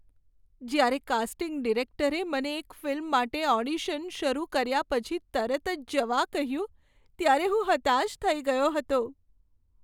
જ્યારે કાસ્ટિંગ ડિરેક્ટરે મને એક ફિલ્મ માટે ઓડિશન શરૂ કર્યા પછી તરત જ જવા કહ્યું, ત્યારે હું હતાશ થઈ ગયો હતો.